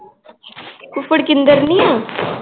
ਫੁੱਫੜ ਕਿੰਦਰ ਨੀ ਆ l